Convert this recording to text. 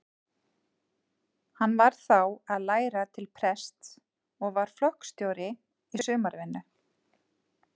Hann var þá að læra til prests og var flokksstjóri í sumarvinnu.